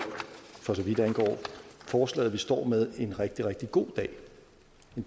for så vidt angår forslaget vi står med er en rigtig rigtig god